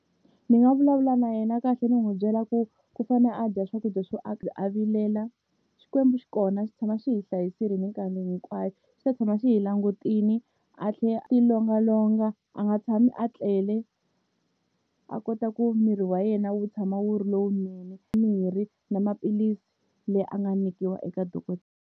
Ndzi nga vulavula na yena kahle ni n'wi byela ku ku fane a dya swakudya swo a vilela Xikwembu xi kona xi tshama xi hi hlayisile mikarhi hinkwayo xi ta tshama xi hi langutile a ti longa longa a nga tshami a tlele a kota ku miri wa yena wu tshama wu ri lowunene mirhi na maphilisi leyi a nga nyikiwa eka .